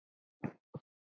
Lestu bækur?